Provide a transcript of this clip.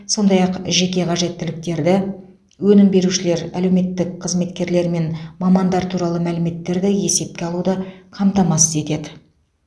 сондай ақ жеке қажеттіліктерді өнім берушілер әлеуметтік қызметкерлер мен мамандар туралы мәліметтерді есепке алуды қамтамасыз етеді